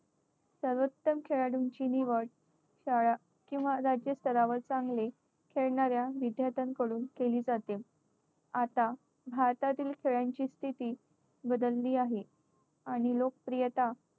सर्वोत्तम खेळाडूंची निवड शाळा किंवा राज्य स्तरावर चांगले खेळणाऱ्या विद्यार्थ्यांकडून केली जाते. आता भारतातील खेळांची स्थिती बदलली आहे. आणि लोकप्रियता